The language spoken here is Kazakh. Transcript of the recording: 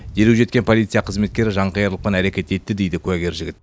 дереу жеткен полиция қызметкері жанқиярлықпен әрекет етті дейді куәгер жігіт